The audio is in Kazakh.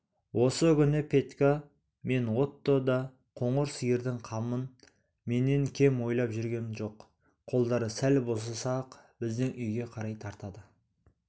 осы күні петька мен отто да қоңыр сиырдың қамын менен кем ойлап жүрген жоқ қолдары сәл босаса-ақ біздің үйге қарай тартады